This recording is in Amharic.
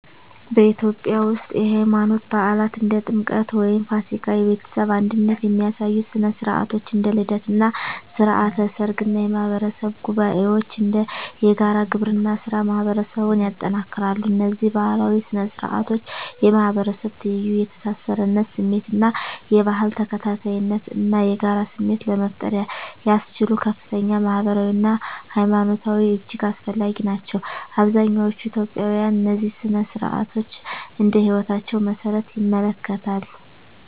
በኢትዮጵያ ውስጥ፣ የሃይማኖት በዓላት (እንደ ጥምቀት ወይም ፋሲካ)፣ የቤተሰብ አንድነት የሚያሳዩ ሥነ ሥርዓቶች (እንደ ልደት እና ሥርዓተ ሰርግ) እና የማህበረሰብ ጉባኤዎች (እንደ የጋራ ግብርና ሥራ) ማህበረሰቡን ያጠናክራሉ። እነዚህ ባህላዊ ሥነ ሥርዓቶች የማህበረሰብ ትይዩ፣ የተሳሳርነት ስሜት እና የባህል ተከታታይነት እና የጋራ ስሜት ለመፍጠር ያስችሉ ከፍተኛ ማህበራዊ አና ሀይማኖታዊ እጅግ አስፈላጊ ናቸው። አብዛኛዎቹ ኢትዮጵያውያን እነዚህን ሥነ ሥርዓቶች እንደ ህይወታቸው መሰረት ይመለከታሉ።